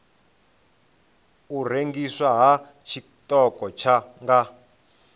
u rengiswa ha tshiṱoko nga